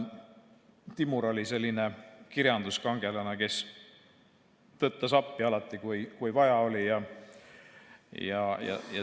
Timur oli selline kirjanduskangelane, kes tõttas appi alati, kui vaja oli.